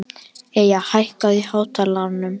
Eyja, hækkaðu í hátalaranum.